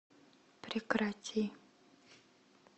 прекрати